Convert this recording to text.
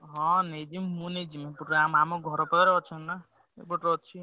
ହଁ ନେଇଯିବି ମୁଁ ନେଇଯିବି ଆମ ଆମ ଘର ପାଖରେ ଅଛନ୍ତି ନା। ଏପଟେ ଅଛି।